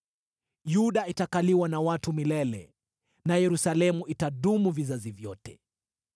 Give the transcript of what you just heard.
Yuda itakaliwa na watu milele na Yerusalemu itadumu vizazi vyote.